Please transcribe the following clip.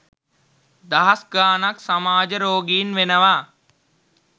දහස් ගාණක් සමාජරෝගීන් වෙනව